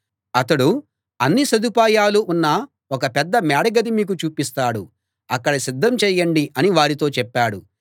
అతడు అన్ని సదుపాయాలూ ఉన్న ఒక పెద్ద మేడ గది మీకు చూపిస్తాడు అక్కడ సిద్ధం చేయండి అని వారితో చెప్పాడు